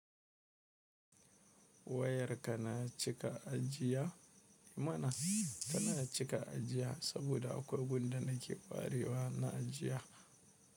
Wayarka na cika ajiya eh mana tana cika ajiya saboda akwai wanda nake ƙwarewa na ajiya.